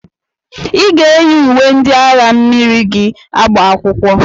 I ga-eyi uwe ndị agha mmiri gị agba akwụkwọ!